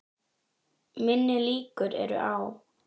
Minni líkur eru á